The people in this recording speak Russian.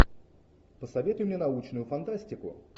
посоветуй мне научную фантастику